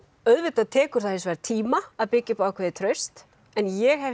auðvitað tekur það hins vegar tíma að byggja upp ákveðið traust en ég hef